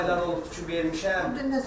Elə aylar olubdur ki, vermişəm.